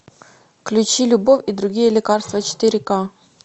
включи любовь и другие лекарства четыре ка